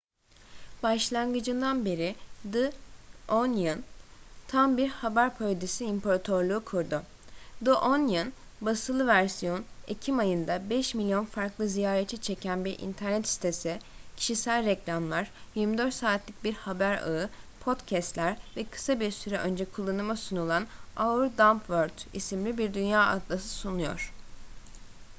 başlangıcından beri the onion tam bir haber parodisi imparatorluğu kurdu. the onion; basılı versiyon ekim ayında 5.000.000 farklı ziyaretçi çeken bir internet sitesi kişisel reklamlar 24 saatlik bir haber ağı podcast'ler ve kısa bir süre önce kullanıma sunulan our dumb world isimli bir dünya atlası sunuyor